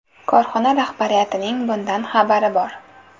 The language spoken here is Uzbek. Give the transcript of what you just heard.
Korxona rahbariyatining bundan xabari bor.